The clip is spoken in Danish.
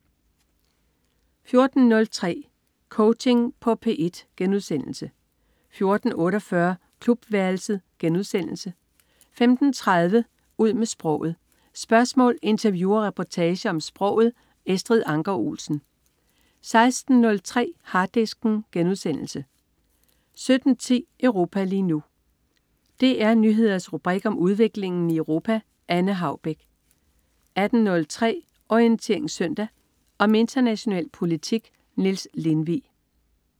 14.03 Coaching på P1* 14.48 Klubværelset* 15.33 Ud med sproget. Spørgsmål, interview og reportager om sproget. Estrid Anker Olsen 16.03 Harddisken* 17.10 Europa lige nu. DR Nyheders rubrik om udviklingen i Europa. Anne Haubek 18.03 Orientering Søndag. Om international politik. Niels Lindvig